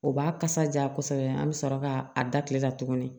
O b'a kasa ja kosɛbɛ an be sɔrɔ ka a da kile la tuguni